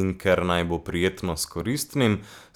In ker naj bo prijetno s koristnim,